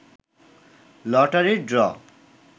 লটারির ড্র